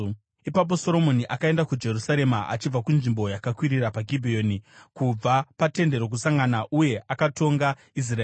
Ipapo Soromoni akaenda kuJerusarema achibva kunzvimbo yakakwirira paGibheoni, kubva paTende Rokusangana. Uye akatonga Israeri.